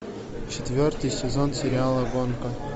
четвертый сезон сериала гонка